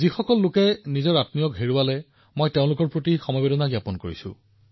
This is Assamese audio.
যিসকলে তেওঁলোকৰ ঘনিষ্ঠসকলক হেৰুৱাইছে তেওঁলোকৰ প্ৰতি মই সমবেদনা জ্ঞাপন কৰিছো